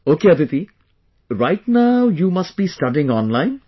Ok Aditi, right now you must be studying online